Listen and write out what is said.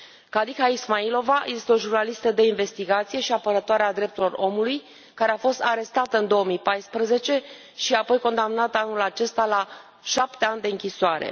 Khadija Ismailova este o jurnalistă de investigație și apărătoare a drepturilor omului care a fost arestată în 2014 și apoi condamnată, anul acesta, la șapte ani de închisoare.